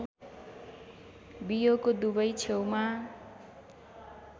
बियोको दुवै छेउमा